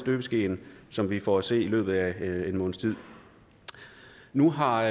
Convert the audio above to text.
støbeskeen som vi får at se i løbet af en måneds tid nu har